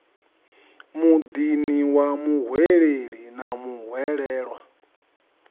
muḓini wa muhweleli na muhwelelwa